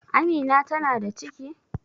Amina ta na da ciki?